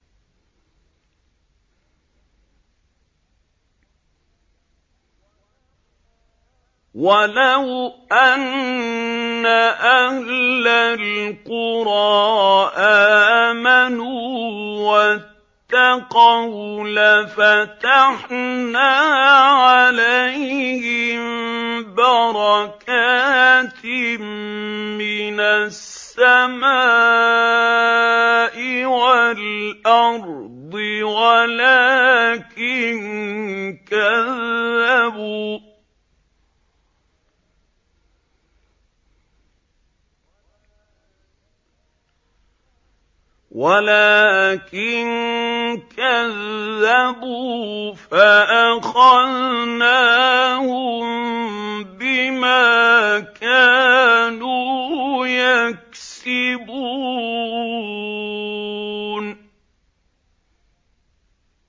وَلَوْ أَنَّ أَهْلَ الْقُرَىٰ آمَنُوا وَاتَّقَوْا لَفَتَحْنَا عَلَيْهِم بَرَكَاتٍ مِّنَ السَّمَاءِ وَالْأَرْضِ وَلَٰكِن كَذَّبُوا فَأَخَذْنَاهُم بِمَا كَانُوا يَكْسِبُونَ